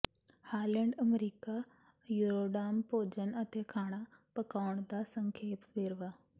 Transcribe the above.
Holland America Eurodam ਭੋਜਨ ਅਤੇ ਖਾਣਾ ਪਕਾਉਣ ਦਾ ਸੰਖੇਪ ਵੇਰਵਾ